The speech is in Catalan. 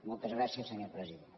moltes gràcies senyor president